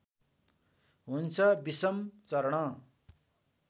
हुन्छ विषम चरण